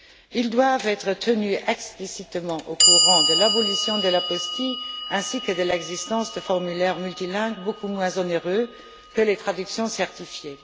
Ils doivent être tenus explicitement au courant de l'abolition de l'apostille ainsi que de l'existence de formulaires multilingues, beaucoup moins onéreux que les traductions certifiées.